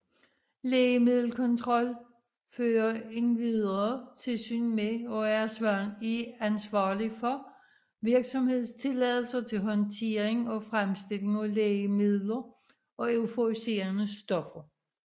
Lægemiddelkontrol fører endvidere tilsyn med og er ansvarlig for virksomhedstilladelser til håndtering og fremstilling af lægemidler og euforiserende stoffer